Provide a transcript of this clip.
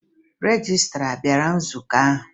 Rejistra a bịara nzukọ ahụ?